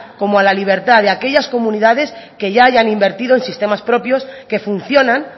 como a la libertad de aquellas comunidades que ya hayan invertido en sistemas propios que funcionan